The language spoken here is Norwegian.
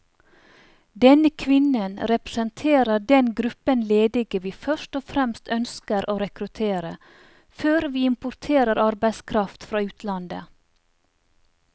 Denne kvinnen representerer den gruppen ledige vi først og fremst ønsker å rekruttere, før vi importerer arbeidskraft fra utlandet.